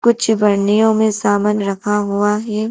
कुछ पन्नियों में सामान रखा हुआ है।